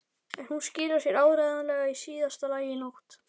En hún skilar sér áreiðanlega í síðasta lagi í nótt.